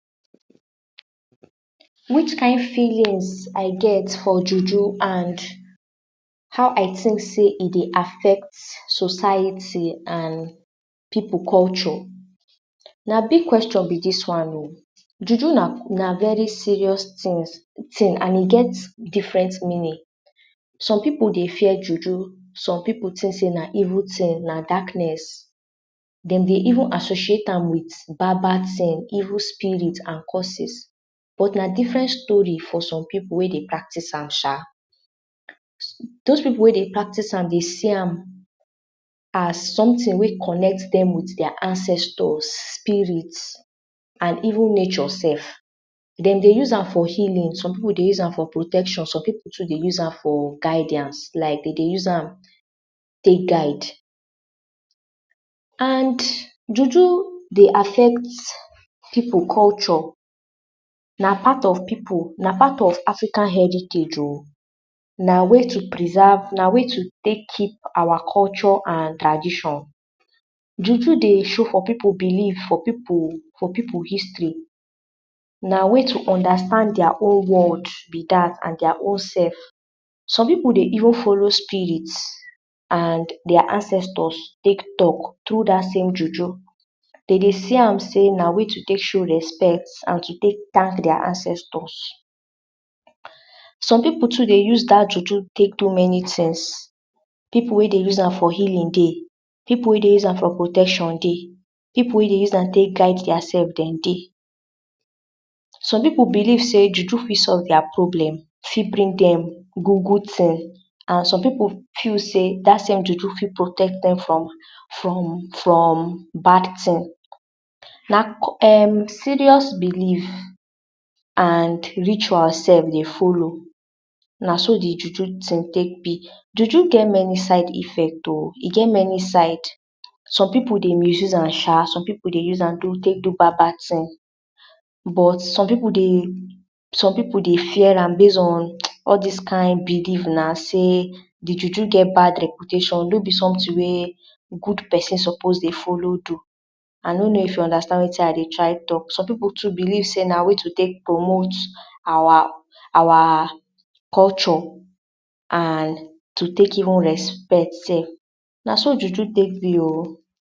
Which kind feelings I get for juju and how I tink sey e dey affect society and pipu culture? Na big question be dis one o. Juju na, na very serious tins, tin and e get different meaning. Some pipu dey fear juju, some pipu tink sey na evil tin, na darkness. Dem dey even associate am wit bad bad tin, evil spirit and curses, but na differen story for some pipu wey dey practice am sha. Dose pipu wey dey practice am dey see am as sometin wey connect dem wit dia ancestors, spirit and even nature sef. Dem dey use am for healing, some pipu dey use am for protection, some pipu too dey use am for guidance, like dey dey use am tek guide. And juju dey affect pipu culture, na part of pipu, na part of Africa heritage o. Na way to preserve, na way to take keep our culture and tradition. Juju dey show for pipu belief, for pipu, for pipu history, na way to understand dia own world be dat and dia own self. Some pipu dey even follow spirit and dia ancestors tek talk trough dat same juju. Den dey see am sey na way to tek show respect and to tek tank dia ancestors. Some pipu too dey use dat juju tek do many tins. Pipu wey dey use am for healing dey, pipu wey dey use am for protection dey, pipu wey use am tek guide dia self, den dey. Some pipu believe sey juju fit solve dia problem, fit bring dem good good tin and some pipu feel sey dat same juju fit protect dem from from from bad tin. Na co um serious belief and ritual sef dey follow, na so di juju tin tek be. Juju get many side effects o, e get many side, some pipu dey misuse am sha. Some pipu dey use am do, tek do bad bad tin, but some pipu dey, some pipu dey fear am base on all dis kind belief na, sey di juju get bad reputation, no be sometin wey good person suppose dey follow do. I no know if you understand wetin I dey try talk, some pipu too believe sey na way to tek promote our, our culture and to tek even respect sef, na so juju tek be o.